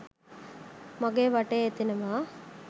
මගේ වටේ එතෙනවා